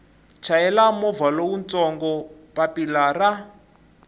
chayela movha lowutsongo papilla ra